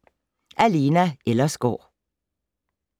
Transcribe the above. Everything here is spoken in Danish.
Af Lena Ellersgaard